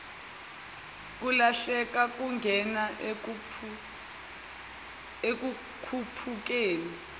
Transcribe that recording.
kulahleka kungena ekukhuphukeni